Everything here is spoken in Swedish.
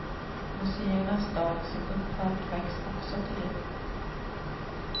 Museernas dag som upphört väcks också till liv.